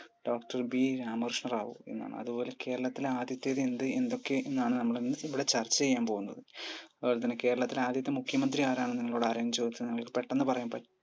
doctor Ramakrishna Rao എന്നാണ് അതുപോലെ കേരളത്തിലെ ആദ്യത്തെ എന്ത് എന്തൊക്കെ എന്നതാണ് നമ്മൾ ഇവിടെ ചർച്ച ചെയ്യാൻ പോകുന്നത്അതുപോലെത്തന്നെ കേരളത്തിലെ ആദ്യത്തെ മുഖ്യമന്ത്രി ആരെന്നു നിങ്ങളോട് ആരേലും ചോദിച്ചാൽ നമുക്ക് പെട്ടന്ന് പറയാൻ പറ്റ്